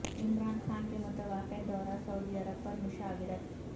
عمران خان کے متوقع دورہ سعودی عرب پر مشاورت